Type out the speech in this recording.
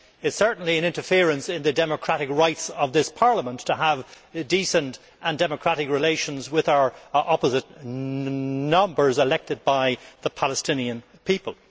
It is certainly an interference in the democratic right of this Parliament to have decent and democratic relations with our opposite numbers, elected by the Palestinian people.